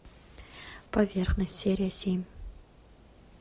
поверхность серия семь